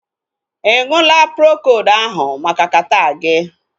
Ịṅụla Procold ahụ maka kata gị?